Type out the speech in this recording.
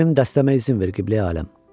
Mənim dəstəmə izin ver Qibləyi aləm.